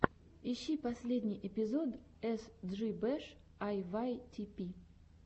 ищи последний эпизод эс джи бэш а вай ти пи